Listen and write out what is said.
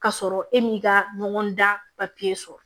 K'a sɔrɔ e m'i ka ɲɔgɔn dan papiye sɔrɔ